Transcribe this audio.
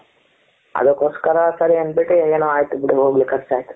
ಅದಕ್ಕೋಸ್ಕರ ಸರಿ ಅಂದ್ಬಿಟ್ಟು ಏನೋ ಅಯ್ತು ಬಿಡು ಹೋಗ್ಲಿ ಕರ್ಚ್ ಅಯ್ತು ,